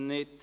Nein